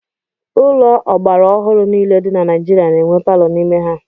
Ụlọ ọgbara ọhụrụ niile dị na Naijiria na-enwe palọ n'ime ha.